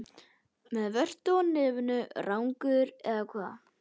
Með vörtu á nefinu, rangeygur, eða hvað?